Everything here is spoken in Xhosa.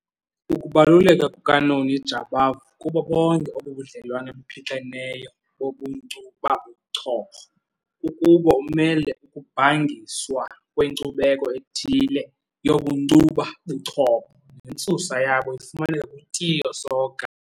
Ukubaluleka kukaNoni Jabavu kubo bonke obu budlelwane buphixeneyo bobunkcubabuchopho kukuba umele ukubhangiswa kwenkcubeko ethile yobunkcubabuchopho nentsusa yabo ifumaneka kuTiyo Soga.